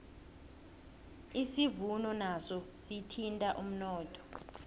isivuno naso sithinta umnotho